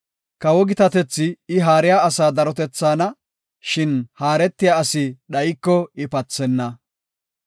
Kawo gitatethi I haariya asaa darotethaana; shin haaretiya asi dhayiko ika pathenna.